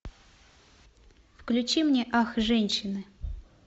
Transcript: включи мне ах женщины